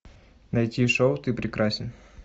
найти шоу ты прекрасен